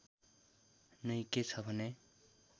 नै के छ भने